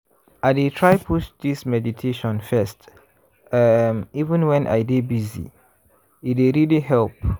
i dey try put this meditation first um even when i dey busy- e dey really help.